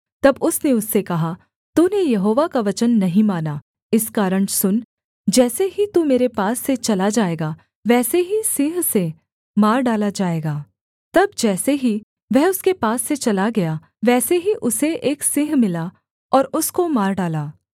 तब उसने उससे कहा तूने यहोवा का वचन नहीं माना इस कारण सुन जैसे ही तू मेरे पास से चला जाएगा वैसे ही सिंह से मार डाला जाएगा तब जैसे ही वह उसके पास से चला गया वैसे ही उसे एक सिंह मिला और उसको मार डाला